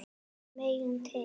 Við megum til.